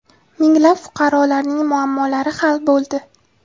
Minglab fuqarolarning muammolari hal bo‘ldi.